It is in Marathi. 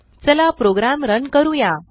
चला प्रोग्राम रन करूया